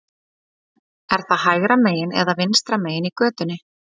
Er það hægra megin eða vinstra megin í götunni?